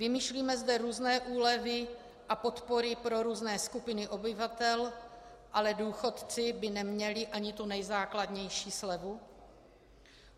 Vymýšlíme zde různé úlevy a podpory pro různé skupiny obyvatel, ale důchodci by neměli ani tu nejzákladnější slevu?